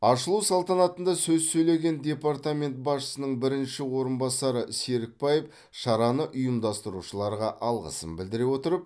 ашылу салтанатында сөз сөйлеген департамент басшысының бірінші орынбасары серікбаев шараны ұйымдастырушыларға алғысын білдіре отырып